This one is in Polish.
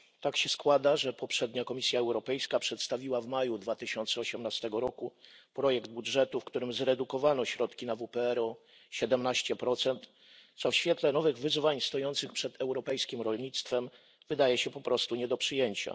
Tak się składa, że poprzednia Komisja Europejska przedstawiła w maju 2018 roku projekt budżetu, w którym zredukowano środki na WPR o 17, co w świetle nowych wyzwań stojących przed europejskim rolnictwem wydaje się po prostu nie do przyjęcia.